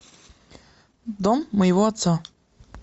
дом моего отца